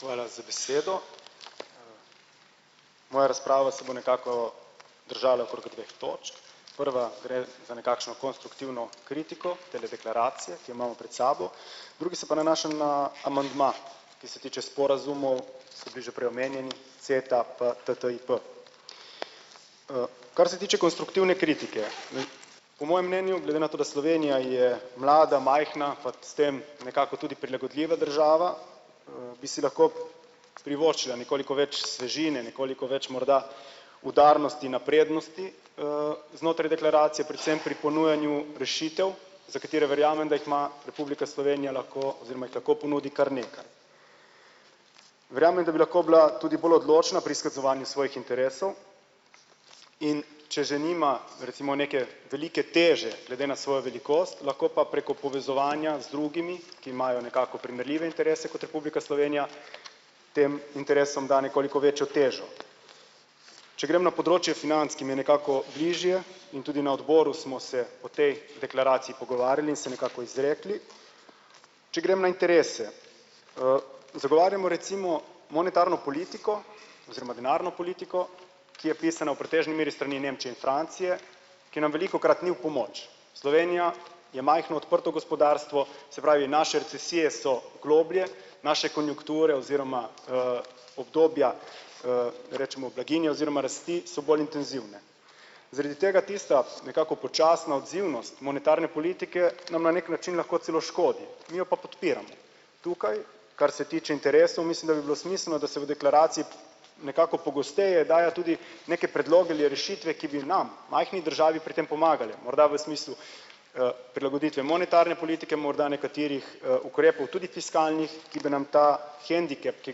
Hvala za besedo. Moja razprava se bo nekako držala okrog dveh točk. Prva gre za nekakšno konstruktivno kritiko tele deklaracije, ki jo imamo pred sabo. Druga se pa nanaša na amandma, ki se tiče sporazumov, so bili že prej omenjeni Ceta, TTIP. Kar se tiče konstruktivne kritike, po mojem mnenju glede na to, da Slovenija je mlada, majhna pač s tem nekako tudi prilagodljiva država, bi si lahko privoščila nekoliko več svežine nekoliko več morda udarnosti, naprednosti, znotraj deklaracije predvsem pri ponujanju rešitev, za katere verjamem, da jih ima Republika Slovenija lahko oziroma jih lahko ponudi kar nekaj. Verjamem, da bi lahko bila tudi bolj odločna pri izkazovanju svojih interesov, in če že nima recimo neke velike teže glede na svojo velikost, lahko pa preko povezovanja z drugimi, ki imajo nekako primerljive interese kot Republika Slovenija, tem interesom da nekoliko večjo težo. Če grem na področje financ, ki mi je nekako bližje, in tudi na odboru smo se o tej deklaraciji pogovarjali in se nekako izrekli. Če grem na interese, zagovarjamo recimo monetarno politiko oziroma denarno politiko, ki je pisana v pretežni meri s strani Nemčije in Francije, ki nam velikokrat ni v pomoč. Slovenija je majhno, odprto gospodarstvo, se pravi naše recesije so globlje, naše konjunkture oziroma, obdobja, rečemo blaginja oziroma rasti so bolj intenzivne. Zaradi tega tista nekako počasna odzivnost monetarne politike nam na neki način lahko celo škodi, mi jo pa podpiramo. Tukaj, kar se tiče interesov, mislim, da bi bilo smiselno, da se v deklaraciji nekako pogosteje daje tudi neke predloge ali rešitve, ki bi nam, majhni državi, pri tem pomagale morda v smislu, prilagoditve monetarne politike morda nekaterih, ukrepov tudi fiskalnih, ki bi nam ta hendikep, ki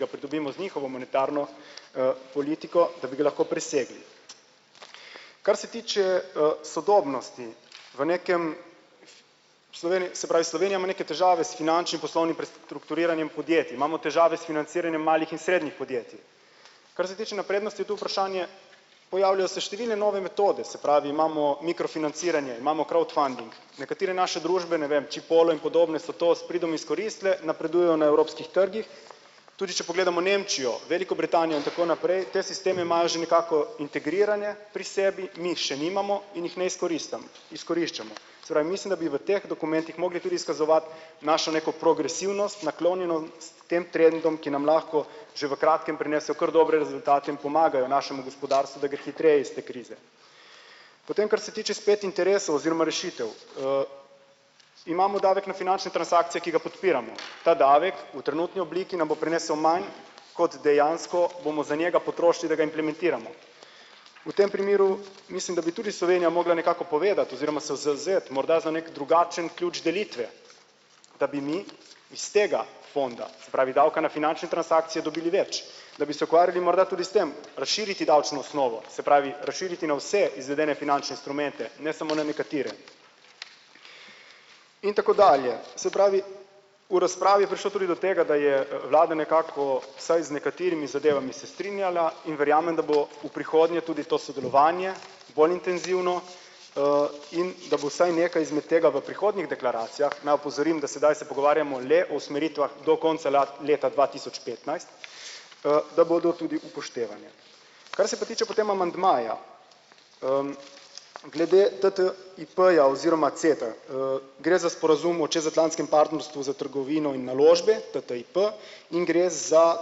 ga pridobimo z njihovo monetarno, politiko, da bi ga lahko presegli. Kar se tiče, sodobnosti v nekem se pravi, Slovenija ima neke težave s finančnim poslovnim pres- trukturiranjem podjetij, imamo težave s financiranjem malih in srednjih podjetij. Kar se tiče naprednosti, je to vprašanje, pojavljajo se številne nove metode, se pravi, imamo mikrofinanciranje, imamo crowdfunding, nekatere naše družbe, ne vem, Chipolo in podobne so to s pridom izkoristile, napredujejo na evropskih trgih, tudi če pogledamo Nemčijo, Veliko Britanijo in tako naprej, te sisteme imajo že nekako integrirane pri sebi, mi jih še nimamo in jih ne izkoriščamo. Se pravi, mislim, da bi v teh dokumentih mogli tudi izkazovati našo neko progresivnost, naklonjenost tem trendom, ki nam lahko že v kratkem prinesejo kar dobre rezultate in pomagajo našemu gospodarstvu, da gre hitreje iz te krize. Potem kar se tiče spet interesov oziroma rešitev, imamo davek na finančne transakcije, ki ga podpiramo. Ta davek v trenutni obliki nam bo prinesel manj, kot dejansko bomo za njega potrošili, da ga implementiramo. V tem primeru mislim, da bi tudi Slovenija mogla nekako povedati oziroma se zavzeti morda za neki drugačen ključ delitve, da bi mi iz tega fonda, se pravi, davka na finančne transakcije dobili več, da bi se ukvarjali morda tudi s tem, razširiti davčno osnovo, se pravi razširiti na vse izvedene finančne instrumente, ne samo na nekatere. In tako dalje. Se pravi, v razpravi je prišlo tudi do tega, da je, vlada nekako vsaj z nekaterimi zadevami se strinjala in verjamem, da bo v prihodnje tudi to sodelovanje bolj intenzivno, in da bo vsaj nekaj izmed tega v prihodnjih deklaracijah, naj opozorim, da sedaj se pogovarjamo le o usmeritvah do konca leta dva tisoč petnajst, da bodo tudi upoštevane. Kar se pa tiče potem amandmaja, glede TT IP-ja oziroma CETE, gre za sporazum o čezatlantskem partnerstvu za trgovino in naložbe TTIP in gre za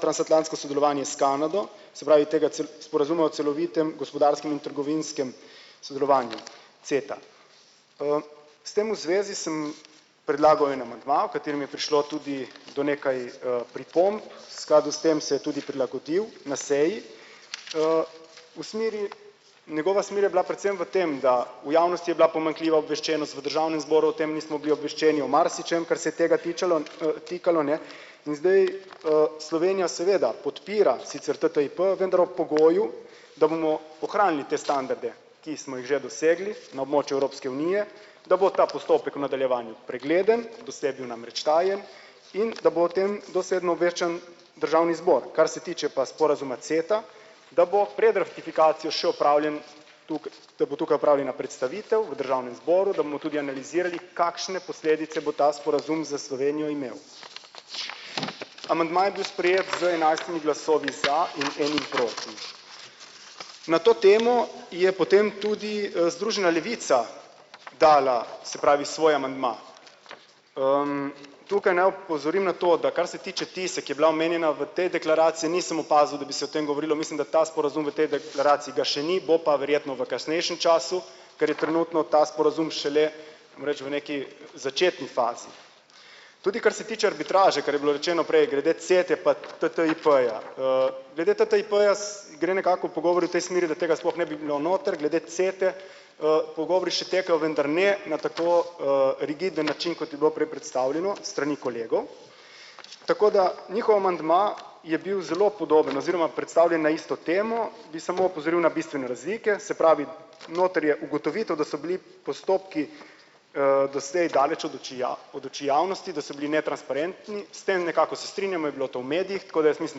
transatlantsko sodelovanje s Kanado, se pravi, tega sporazuma o celovitem gospodarskem in trgovinskem sodelovanju, CETA. S tem v zvezi sem predlagal en amandma, v katerem je prišlo tudi do nekaj, pripomb, skladu s tem se je tudi prilagodil na seji, v smeri, njegova smer je bila predvsem v tem, da v javnosti je bila pomanjkljiva obveščenost v državnem zboru, o tem nismo bili obveščeni, o marsičem, kar se je tega tičalo, tikalo, ne, in zdaj, Slovenija seveda podpira sicer TTIP, vendar ob pogoju, da bomo ohranili te standarde, ki smo jih že dosegli na območju Evropske unije, da bo ta postopek v nadaljevanju pregleden do sebi namreč tajen in ta bo o tem dosledno obveščen državni zbor, kar se tiče pa sporazuma CETA, da bo pred ratifikacijo še opravljen da bo tukaj opravljena predstavitev v državnem zboru, da bomo tudi analizirali, kakšne posledice bo ta sporazum za Slovenijo imel. Amandma je bil sprejet z enajstimi glasovi za in enim proti. Na to temo je potem tudi, Združena levica dala, se pravi, svoj amandma. Tukaj naj opozorim na to, da kar se tiče tise, ki je bila omenjena v tej deklaraciji, nisem opazil, da bi se o tem govorilo, mislim, da ta sporazum v tej deklaraciji ga še ni, bo pa verjetno v kasnejšem času, ker je trenutno za sporazum šele, moram reči, v neki začetni fazi. Tudi kar se tiče arbitraže, kar je bilo rečeno prej glede CETE pa TTIP-ja, glede TTIP-ja gre nekako pogovor v tej smeri, da tega sploh ne bi bilo noter glede CETE, pogovori še potekajo, vendar ne na tako, rigiden način, kot je bilo prej predstavljeno s strani kolegov. Tako da njihov amandma je bil zelo podoben oziroma predstavljen na isto temo, bi samo opozoril na bistvene razlike, se pravi, noter je ugotovitev, da so bili postopki, doslej daleč od oči od oči javnosti, da so bili netransparentni. S tem nekako se strinjamo je bilo to v medijih, tako da jaz mislim,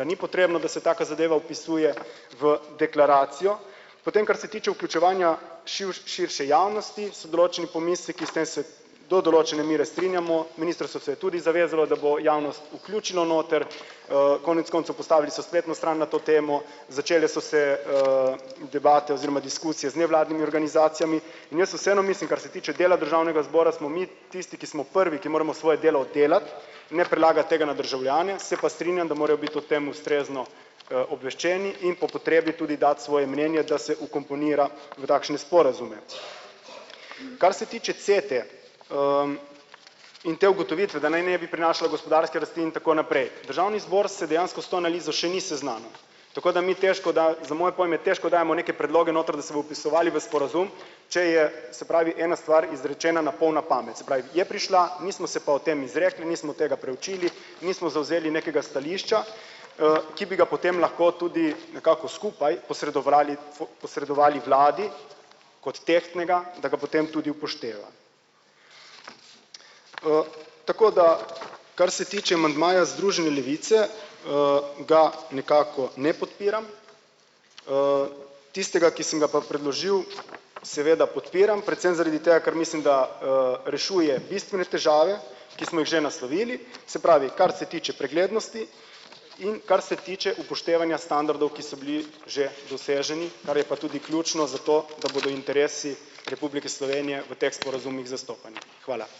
da ni potrebno, da se taka zadeva vpisuje v deklaracijo. Potem kar se tiče vključevanja širše javnosti, so določeni pomisleki, s tem se do določene mere strinjamo, ministrstvo se je tudi zavezalo, da bo javnost vključilo noter, konec koncev postavili so spletno stran na to temo, začele so se, in debate oziroma diskusije z nevladnimi organizacijami in jaz vseeno mislim, kar se tiče dela državnega zbora, smo mi tisti, ki smo prvi, ki moramo svoje delo oddelati, ne prelagati tega na državljane, se pa strinjam, da morajo biti o tem ustrezno, obveščeni in po potrebi tudi dati svoje mnenje, da se vkomponira v takšne sporazume. Kar se tiče CETE, in te ugotovitve, da naj ne bi prinašalo gospodarske rasti in tako naprej, državni zbor se dejansko s to analizo še ni seznanil. Tako da mi težko za moje pojme težko dajemo neke predloge noter, da se bojo vpisovali noter v sporazum, če je, se pravi, ena stvar izrečena na pol na pamet, se pravi, je prišla, mi smo se pa o tem izrekli, nismo tega preučili, nismo zavzeli nekega stališča, ki bi ga potem lahko tudi nekako skupaj posredovali posredovali vladi kot tehtnega, da ga potem tudi upošteva. Tako da kar se tiče amandmaja Združene levice, ga nekako ne podpiram, tistega, ki sem ga pa predložil, seveda podpiram predvsem zaradi tega, ker mislim, da, rešuje bistvene težave, ki smo jih že naslovili, se pravi, kar se tiče preglednosti in kar se tiče upoštevanja standardov, ki so bili že doseženi, kar je pa tudi ključno za to, da bodo interesi Republike Slovenije v teh sporazumih zastopani. Hvala.